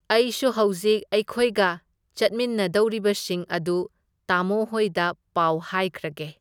ꯑꯩꯁꯨ ꯍꯧꯖꯤꯛ ꯑꯩꯈꯣꯏ ꯆꯠꯃꯤꯟꯅꯗꯧꯔꯤꯕꯁꯤꯡ ꯑꯗꯨ ꯇꯥꯃꯣꯍꯣꯏꯗ ꯄꯥꯎ ꯍꯥꯏꯈ꯭ꯔꯒꯦ꯫